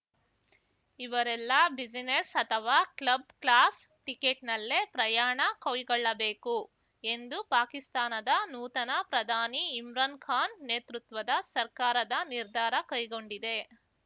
ಇವರೆಲ್ಲ ಬಿಸಿನೆಸ್‌ ಅಥವಾ club class ಟಿಕೆಟ್‌ನಲ್ಲೇ ಪ್ರಯಾಣ ಕೈಗೊಳ್ಳಬೇಕು ಎಂದು ಪಾಕಿಸ್ತಾನದ ನೂತನ ಪ್ರಧಾನಿ ಇಮ್ರಾನ್‌ ಖಾನ್‌ ನೇತೃತ್ವದ ಸರ್ಕಾರದ ನಿರ್ಧಾರ ಕೈಗೊಂಡಿದೆ